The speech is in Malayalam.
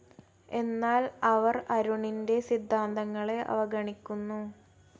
എന്നാൽ അവർ അരുണിന്റെ സിദ്ധാന്തങ്ങളെ അവഗണിക്കുന്നു